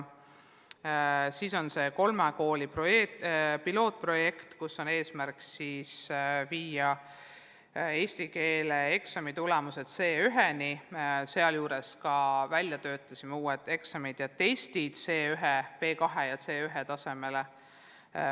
Veel on kolme kooli pilootprojekt, mille eesmärk on viia eesti keele eksami tulemused C1-ni, sealjuures me töötasime välja uued eksamid ja testid C1 ja B2 tasemele.